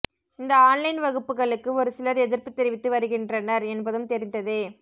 இந்த ஆன்லைன் வகுப்புகளுக்கு ஒரு சிலர் எதிர்ப்பு தெரிவித்து வருகின்றனர் என்பதும் தெரிந்ததே